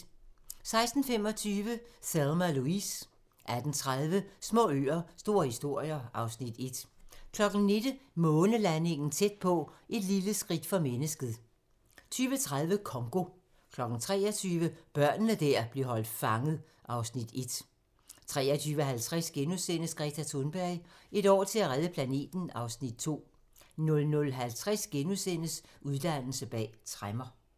16:25: Thelma & Louise 18:30: Små øer - store historier (Afs. 1) 19:00: Månelandingen tæt på - Et lille skridt for mennesket 20:30: Congo 23:00: Børnene der blev holdt fanget (Afs. 1) 23:50: Greta Thunberg: Et år til at redde planeten (Afs. 2)* 00:50: Uddannelse bag tremmer *